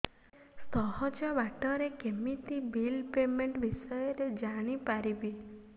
ସହଜ ବାଟ ରେ କେମିତି ବିଲ୍ ପେମେଣ୍ଟ ବିଷୟ ରେ ଜାଣି ପାରିବି